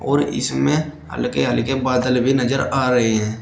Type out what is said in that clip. और इसमें हल्के हल्के बादल भी नजर आ रहे हैं।